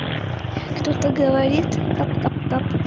кто-то говорит кап кап кап